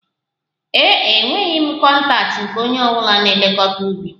Ee e, enweghị m kọntaktị nke onye na-elekọta ubi